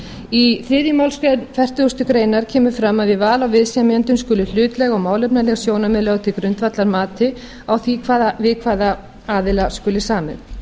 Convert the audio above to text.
í þriðju málsgrein fertugustu grein kemur fram að við val á viðsemjendum skuli hlutlæg og málefnaleg sjónarmið lögð til grundvallar mati á því við hvaða aðila skuli samið